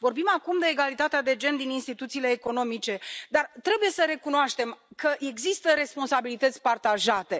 Vorbim acum de egalitatea de gen din instituțiile economice, dar trebuie să recunoaștem că există responsabilități partajate.